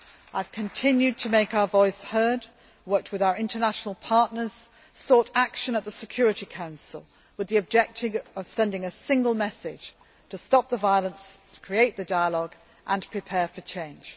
I have continued to make our voice heard, worked with our international partners and sought action at the Security Council with the objective of sending a single message to stop the violence, create the dialogue, and prepare for change.